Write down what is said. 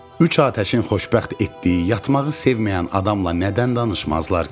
Üç atəşin xoşbəxt etdiyi yatmağı sevməyən adamla nədən danışmazlar ki?